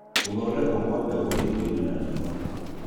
Gũthondekwo kwa mbegũ ciitoinĩ na riũa